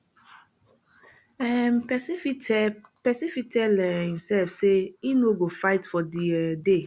um persin fit tell persin fit tell um imself say im no go fight for di um day